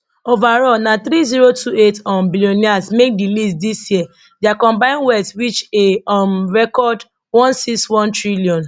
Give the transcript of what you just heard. overall na three zero two eight um billionaires make di list dis year dia combine wealth reach a um record one six one trillion